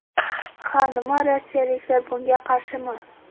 Ha, nima rossiyaliklar bunga qarshimi?